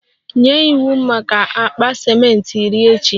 Nye iwu maka akpa ciment iri echi!